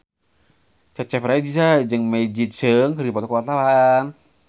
Cecep Reza jeung Maggie Cheung keur dipoto ku wartawan